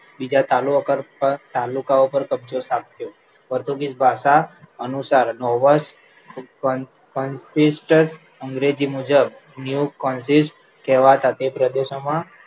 બીજા તાલુ કર પર તાલુકા ઉપર કબજો થાપ્યો. પોર્ટુગીસ ભાષા અનુસાર નોવોર્સ ઉતપન પંથિસ્ટ અંગ્રેજી મુજબ new consist કહેવાતા તે પ્રદેશોમાં